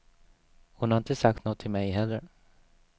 Hon har inte sagt nåt till mig heller.